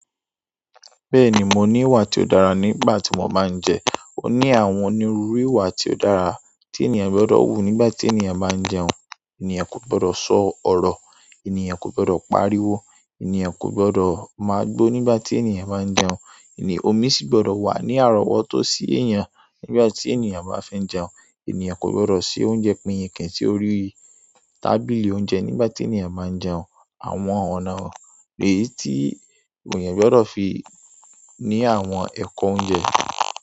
Bẹ́ẹ̀ni mo ní ìwà tí ó dára nígbà tí mo bá ń jẹ. Ó ní àwọn ní ruru ìwà tí ó dára tí ènìyàn gbọdọ̀ wù nígbà tí ènìyàn bá ń jẹun. Ènìyàn kò gbọdọ̀ sọ ọ̀rọ̀, ènìyàn kò gbọdọ̀ pariwo, ènìyàn kò gbọdọ̀ máa gbó nígbà tí ènìyàn bá ń jẹun. E omi sì gbọdọ̀ wà ní àrọ́wọ́tó sí èèyàn nígbà tí ènìyàn bá fi n jẹun. Ènìyàn kò gbọdọ̀ se oúnjẹ pinyinkin si orí tábìlì oúnjẹ nígbà tí ènìyàn máa ń jẹun. Àwọn ọ̀nà èyí tí ènìyàn gbọdọ̀ fi ní àwọn ẹ̀kọ́ oúnjẹ.